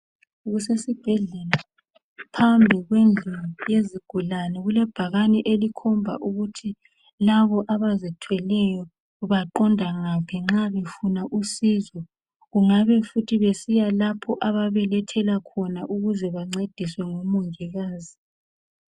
Kusesibhedlela phambi kwendlu yezigulane kulebhakane elikhomba ukuthi labo abazithweleyo baqonda ngaphi nxa befuna usizo , kungabe futhi besiya lapho ababelethela khona ukuze bancediswe ngomongikazi